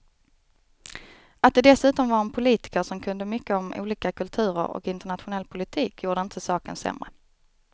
Att det dessutom var en politiker som kunde mycket om olika kulturer och internationell politik gjorde inte saken sämre.